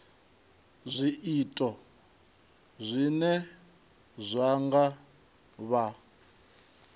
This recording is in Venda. zwiito zwine zwa nga vha